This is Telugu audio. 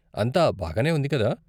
అంతా బాగానే ఉంది కదా.